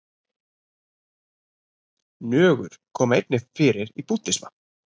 Nögur koma einnig fyrir í búddisma.